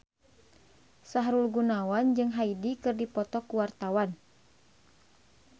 Sahrul Gunawan jeung Hyde keur dipoto ku wartawan